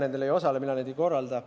Mina nendel ei osale, mina neid ei korralda.